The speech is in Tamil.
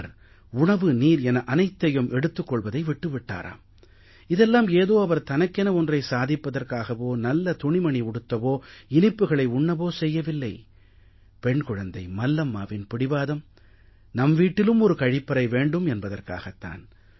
அவர் உணவு நீர் என அனைத்தையும் எடுத்துக் கொள்வதை விட்டு விட்டாராம் இதெல்லாம் ஏதோ அவர் தனக்கென ஒன்றை சாதிப்பதற்காகவோ நல்ல துணிமணி உடுத்தவோ இனிப்புக்களை உண்ணவோ செய்யவில்லை பெண் குழந்தை மல்லம்மாவின் பிடிவாதம் நம் வீட்டிலும் ஒரு கழிப்பறை வேண்டும் என்பதற்காகத் தான்